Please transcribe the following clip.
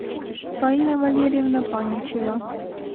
фаина валерьевна паничева